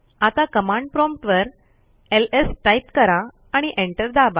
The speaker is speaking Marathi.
आता कमांड प्रॉम्प्ट वर एलएस टाईप करा आणि एंटर दाबा